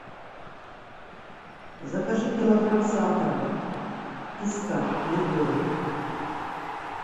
закажи килограмм сахара песка любого